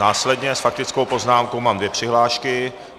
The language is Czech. Následně s faktickou poznámkou mám dvě přihlášky.